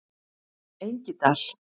Engidal